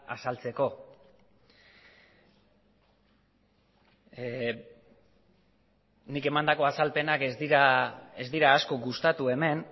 azaltzeko nik emandako azalpenak ez dira asko gustatu hemen